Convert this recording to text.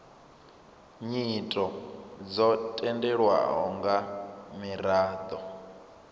nyito dzo tendelwaho nga miraḓo